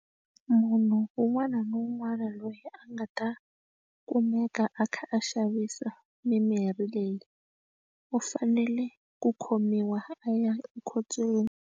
Munhu un'wana na un'wana loyi a nga ta kumeka a kha a xavisa mimirhi leyi u fanele ku khomiwa a ya ekhotsweni.